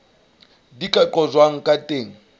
di ka qojwang ka teng